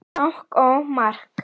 Bang og mark!